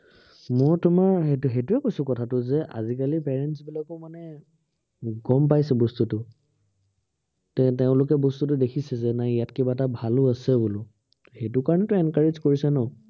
মোৰ তোমাৰ সেইটো সেইটোৱেই কৈছো কথাটো, যে আজিকালিৰ parents বিলাকে মানে গম পাইছে বস্তুটো ত তেওঁলোকে বস্তুটো দেখিছে যে, নাই ইয়াত কিবা এটা ভালো আছে বোলো। সেইটো কাৰনেটো encourage কৰিছে ন